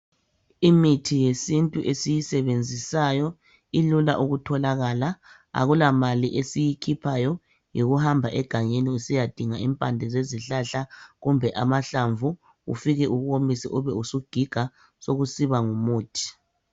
Imithi yesintu esiyisebenzisayo ilula ukutholakala akula mali esiyikhiphayo yikuhamba egangeni usiyadinga impande zezihlahla kumbe amahlamvu ufike uwomise ubesewugiga sokusiba ngumuthi.